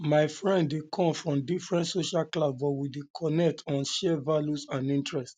my friend dey um come um from different social class but we dey connect on shared values and interests